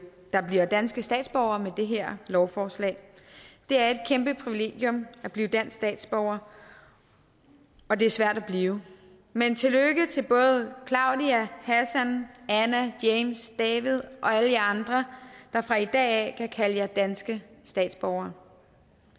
der bliver danske statsborgere med det her lovforslag det er et kæmpe privilegium at blive dansk statsborger og det er svært at blive men tillykke til både claudia hassan anna james david og alle jer andre der fra i dag kan kalde jer danske statsborgere